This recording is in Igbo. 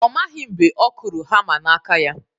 Ọ maghị mgbe ọ kụrụ hama n'aka ya